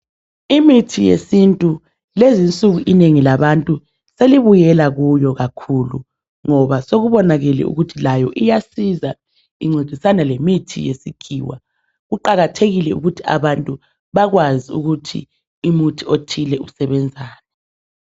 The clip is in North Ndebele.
Imithi yesintu lezi insuku inengi selibuyela kuyo kakhulu ngoba sekubonakele ukuthi layo iyasiza ingcedisane lemithi yesikhiwa kuqhakathekile ukuthi abantu bakwazi ukuthi umuthi othile usebenzani